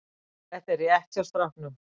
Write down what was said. Þetta er rétt hjá stráknum.